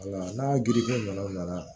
Wala n'a girifɛrɛnin nana